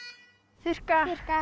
þurrka þurrka